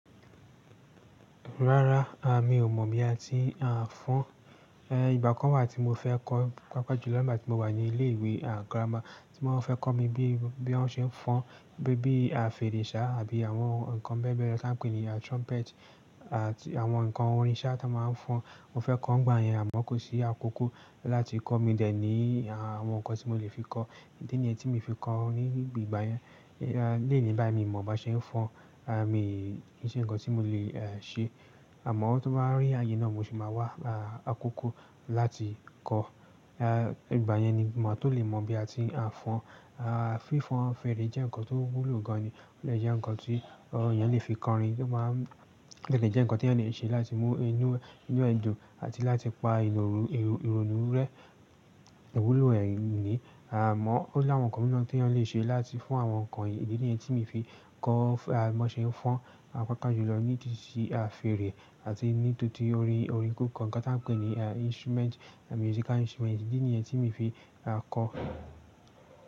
Rárá, a mi ò mọ̀ bí a ti à ń fọn, eh, ìgbà kan wà tí mo fẹ́ kọ́ papa ju lọ nígbà tí mo wà ní ilé ìwé à grammar tí wón fẹ́ kọ mí bí, bí wón ṣe ń fọn, bí, bí a fèrèsá àbí àwọn nǹkan bébẹrẹ tó a ń pè ní à trumpet àti àwọn nǹkan orin sá tó a máa ń fọn. Mo fẹ́ kọ́ ngba yẹn àmọ́ kò sí àkókò láti kọ́, mi de ní àwọn nǹkan tí mo lè fi kọ́. Idi nìyẹn tí mi fi kọ́ ní ìgbà yẹn. Eh, leni bá mi mọ̀ bí a ṣe ń fọn, à mi kì í ṣe nǹkan tí mo lè eh ṣe. Àmọ́ tó bá rí àyè náà mo sì máa wá à ákókò láti kọ́. Eh, ìgbà yẹn ni màá tó lè mọ̀ bí a ti à ń fọn. A fifon fere je nkan to wulo gan ni ò le jẹ́ nǹkan tí àwon èèyàn lè fi kọrin, nípa m-- o dẹ̀ lè jẹ́ nǹkan tí èèyàn lè ṣe láti mú inú, inú ẹ̀dùn àti láti pa inú òru, èrò, ìrònú rẹ́. Iwúlo ẹ́ ni. À mọ́, ó ní àwọn nǹkan mìíràn tí ẹ̀yàn lè ṣe láti fún àwọn nǹkan. Diẹ nìyẹn tí mo fi kọ́, à mo ṣe ń fọn, à pa pọ̀jù lọ ní tìsíí à fèrè àti ní tòtí orin, orin kọ̀ọ̀kan kan tí a ń pè ní à instrument, musical instrument. Diẹ nìyẹn tí mo fi à kọ́